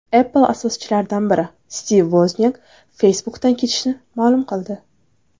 Apple asoschilaridan biri Stiv Voznyak Facebook’dan ketishini ma’lum qildi.